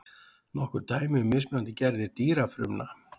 nokkur dæmi um mismunandi gerðir dýrafrumna